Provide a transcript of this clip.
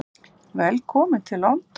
Velkominn til London.